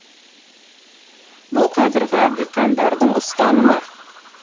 бұл қазіргі диқандардың ұстанымы